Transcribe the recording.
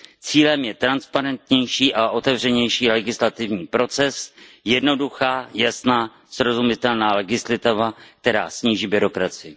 Cílem je transparentnější a otevřenější legislativní proces, jednoduchá, jasná a srozumitelná legislativa, která sníží byrokracii.